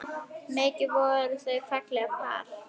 Mikið voru þau fallegt par.